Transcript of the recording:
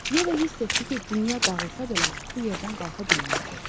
Yeva hiss etdi ki, dünya dağılsa belə bu yerdən qalxa bilməyəcək.